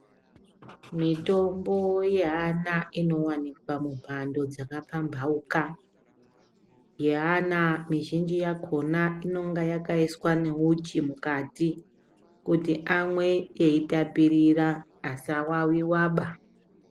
Mitombo yeana inowanikwa mumbando dzakapambauka. Yeana mizhinji yakona inonga yakaiswa neuchi mukati kuti amwe eitapirira, asavaviwaba.